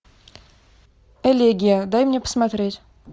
элегия дай мне посмотреть